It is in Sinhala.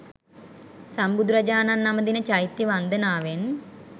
සම්බුදුරජාණන් නමදින චෛත්‍ය වන්දනාවෙන්